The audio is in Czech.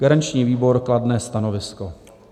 Garanční výbor: kladné stanovisko.